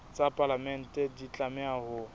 tsa palamente di tlameha ho